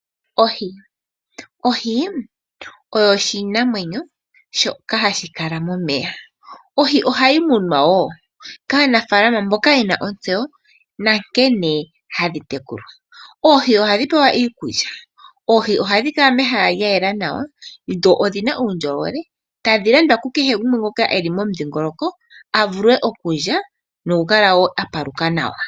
Ohi, ohi oyo oshinamwenyo shoka hashi kala momeya, ohi ohayi munwa wo kaanafalama mboka yena ontseyo nankene hadhi tekulwa, oohi ohadhi pewa iikulya, oohi ohadhi kala mehala lya yela nawa dho odhina uundjolowele tadhi landwa kukehe gumwe ngoka eli momudhingoloko avule okulya noku kala a pamuka nawa.